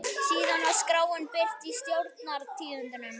Síðan var skráin birt í Stjórnar- tíðindum.